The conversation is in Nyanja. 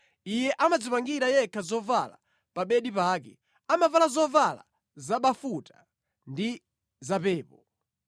Iye amadzipangira yekha zoyala pa bedi pake; amavala zovala zabafuta ndi zapepo.